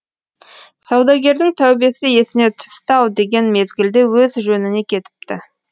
саудагердің тәубесі есіне түсті ау деген мезгілде өз жөніне кетіпті